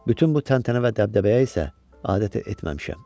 Bütün bu təntənə və dəbdəbəyə isə adət etməmişəm.